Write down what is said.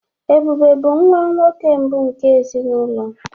Ebube bụ nwa nwoke mbụ nke ezinụlọ.